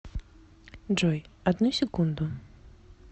джой одну секунду